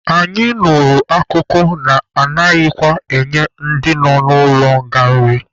Anyị nụrụ akụkọ na-anaghịkwa enye ndị nọ n'ụlọ nga nri.